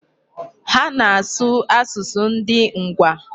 Ha na-asụ asụsụ ndị Ngwa.